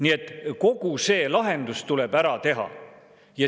Nii et kogu see lahendus tuleb ära teha.